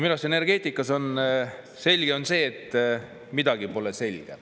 Minu arust energeetikas selge on see, et midagi pole selge.